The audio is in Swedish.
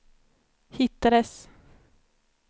hittades